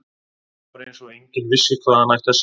Það var eins og enginn vissi hvað hann ætti að segja.